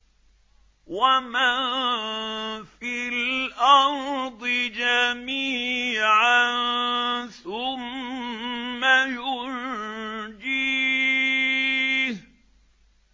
وَمَن فِي الْأَرْضِ جَمِيعًا ثُمَّ يُنجِيهِ